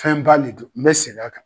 Fɛn ba de don . N bɛ segin a kan.